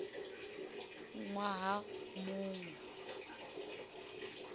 ṅ waha mu ṅ we